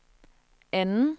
anden